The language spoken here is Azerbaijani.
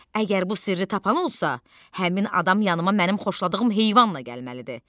Əgər bu sirri tapan olsa, həmin adam yanıma mənim xoşladığım heyvanla gəlməlidir.